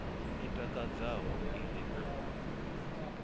i takadzaho i re na